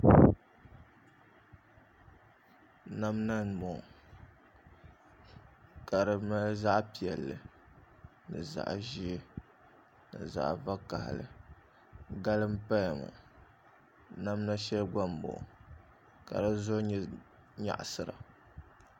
Namda n bɔŋɔ ka di ŋmani zaɣ piɛlli zaɣ ʒiɛ ni zaɣ vakaɣali gali n paya ŋɔ namda shɛli gba n bɔŋɔ ka di zuɣu nyɛ nyaɣasira